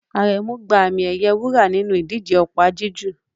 Aremu gba àmì-ẹ̀yẹ wúrà nínú ìdíje opa-jiju